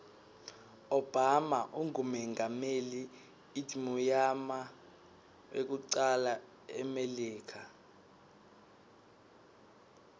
obama ungumengameli idmuyama wekucala emilika